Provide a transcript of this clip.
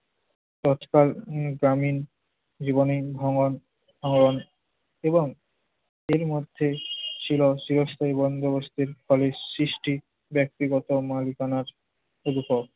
তৎকাল গ্রামীন জীবনে ভাঙন~ ভাঙন এবং এর মধ্যে ছিল চিরস্থায়ী বন্দোবস্তের ফলে সৃষ্টি ব্যক্তিগত মালিকানার শুরু হয়।